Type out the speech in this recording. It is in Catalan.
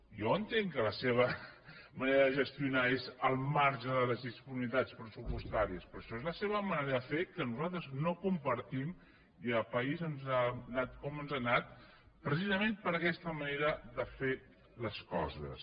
jo entenc que la seva manera de gestionar és al marge de les disponibilitats pressupostàries però això és la seva manera de fer que nosaltres no compartim i el país ens ha anat com ens ha anat precisament per aquesta manera de fer les coses